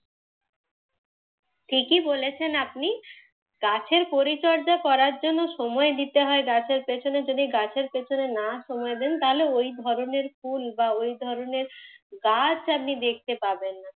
ঠিকই বলেছেন আপনি। গাছের পরিচর্যা করার জন্যে সময় দিতে হয়। গাছের পিছনে যদি গাছের পিছনে সময় না দেন তাহলে ওই ধরণের ফুল বা ওই ধরণের গাছ আপনি দেখতে পাবেন না।